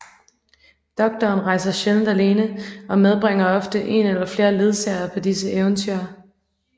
Doktoren rejser sjældent alene og medbringer ofte en eller flere ledsagere på disse eventyr